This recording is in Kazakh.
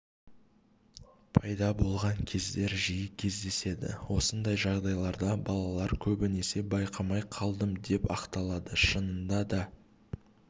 пайда болған кездер жиі кездеседі осындай жағдайларда балалар көбінесе байқамай қалдым деп ақталады шынында да